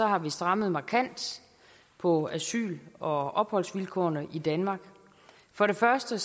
har vi strammet markant på asyl og opholdsvilkårene i danmark for det første